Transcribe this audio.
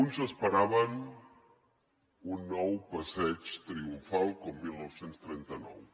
uns s’esperaven un nou passeig triomfal com dinou trenta nou